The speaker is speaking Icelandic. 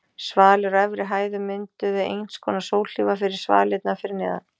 Svalir á efri hæðum mynduðu einskonar sólhlífar fyrir svalirnar fyrir neðan.